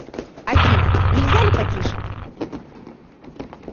афина нельзя ли потише